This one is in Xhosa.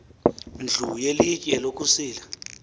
ndlu yelitye lokusila